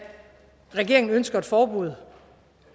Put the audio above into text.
regeringen ønsker et forbud